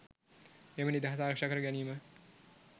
එම නිදහස ආරක්ෂා කර ගැනීම